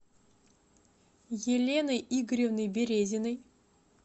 еленой игоревной березиной